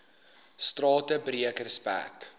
strate breek respek